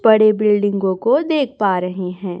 बड़े बिल्डिंगों को देख पा रहे हैं।